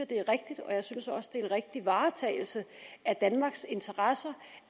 det er rigtigt og jeg synes også at det er en rigtig varetagelse af danmarks interesser